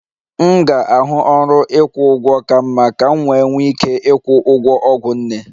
M ga-ahụ ọrụ ịkwụ ụgwọ ka mma ka m wee nwee ike ịkwụ ụgwọ ọgwụ nne